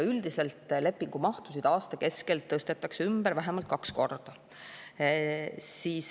Üldiselt lepingumahtusid aasta keskel tõstetakse ümber vähemalt kaks korda.